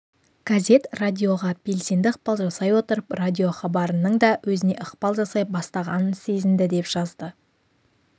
газет радиоға белсенді ықпал жасай отырып радиохабарының да өзіне ықпал жасай бастағанын сезінді деп жазды